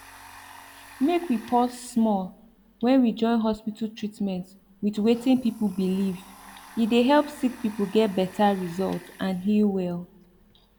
make we pause small when we join hospital treatment with wetin people believe e dey help sick people get better result and heal well